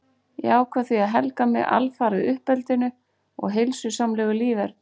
Ég ákvað því að helga mig alfarið uppeldinu og heilsusamlegu líferni.